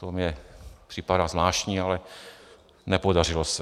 To mně připadá zvláštní, ale nepodařilo se.